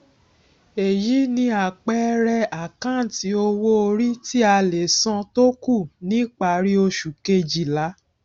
èyí ni àpẹẹrẹ àkáǹtì owó orí tí a lè san tó kù ni parí oṣù kejìlá